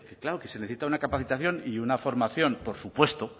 claro que se necesita una capacitación y una formación por supuesto